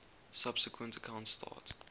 subsequent accounts start